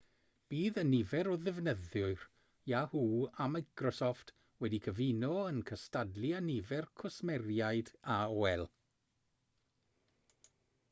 bydd y nifer o ddefnyddwyr yahoo a microsoft wedi'u cyfuno yn cystadlu â nifer cwsmeriaid aol